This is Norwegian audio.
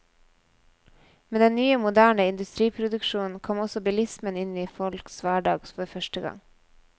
Med den nye moderne industriproduksjonen kom også bilismen inn i folks hverdag for første gang.